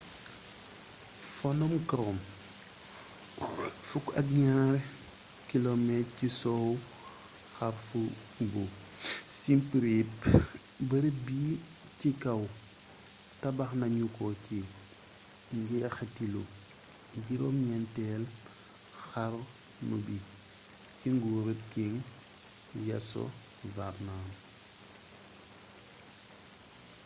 phonom krom 12 km ci sow xarfu bu siem reap bërëb bi ci kaw tabaxnañuko ci njéxitalu juroom ñenteelu xarnu bi ci nguuruk king yasovarman